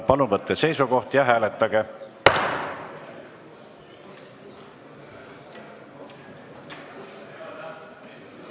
Palun võtke seisukoht ja hääletage!